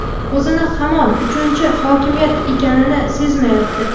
o‘zini hamon uchinchi hokimiyat ekanini sezmayapti.